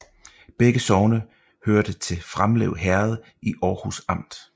Begge sogne hørte til Framlev Herred i Aarhus Amt